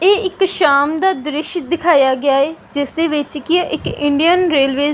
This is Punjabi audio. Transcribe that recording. ਇਹ ਇੱਕ ਸ਼ਾਮ ਦਾ ਦ੍ਰਿਸ਼ ਦਿਖਾਇਆ ਗਿਆ ਹੈ ਜਿਸਦੇ ਵਿੱਚ ਕੀ ਹੈ ਇੱਕ ਇੰਡੀਅਨ ਰੈਲਵੇਜ਼ --